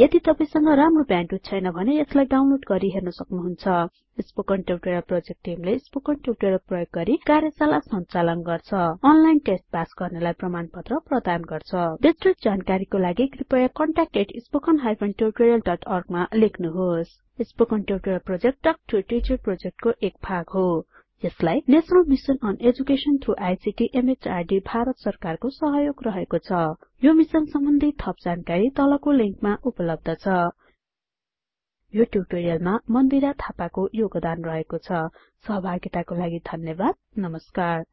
यदि तपाई संग राम्रो ब्याण्डविड्थ छैन भने यसलाई डाउनलोड गरि हेर्न सक्नुहुन्छ स्पोकन ट्युटोरियल प्रोजेक्ट टिमले स्पोकन ट्युटोरियल प्रयोग गरि कार्यशाला संचालन गर्छ अनलाइन टेस्ट पास गर्नेलाई प्रमाणपत्र प्रदान गर्छ बिस्तृत जानकारीको लागि कृपयाcontactspoken tutorialorg मा लेख्नुहोस् spoken tutorial project talk to a teacher प्रोजेक्टको एक भाग हो यसलाई national mission on education through ICT MHRDभारत सरकारको सहयोग रहेको छ यो मिसन सम्बन्धि थप जानकारी तलको लिंकमा उपलब्ध छ spoken hyphen tutorial dot org slash nmeict hyphen intro यो ट्युटोरियलमा मन्दिरा थापाको योगदान रहेको छ सहभागिताको लागि धन्यवाद नमस्कार